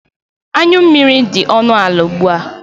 Anyu mmiri dị ọnụ ala ugbua.